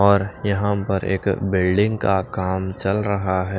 और यहां पर एक बिल्डिंग का काम चल रहा है।